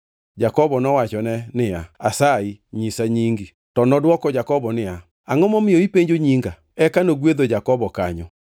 Jakobo nowachone niya, “Asayi nyisa nyingi.” To nodwoko Jakobo niya, “Angʼo momiyo ipenjo nyinga?” Eka nogwedho Jakobo kanyo.